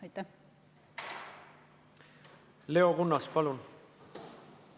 Leo Kunnas, palun!